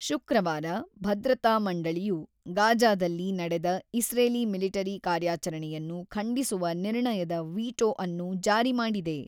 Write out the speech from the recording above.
ಶುಕ್ರವಾರ, ಭದ್ರತಾ ಮಂಡಳಿಯು ಗಾಜಾದಲ್ಲಿ ನಡೆದ ಇಸ್ರೇಲಿ ಮಿಲಿಟರಿ ಕಾರ್ಯಚರಣೆಯನ್ನು ಖಂಡಿಸುವ ನಿರ್ಣಯದ ವೀಟೋ ಅನ್ನು ಜಾರಿ ಮಾಡಿದೆ.